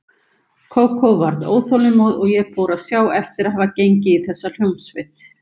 Kókó varð óþolinmóð og ég fór að sjá eftir að hafa gengið í þessa hljómsveit.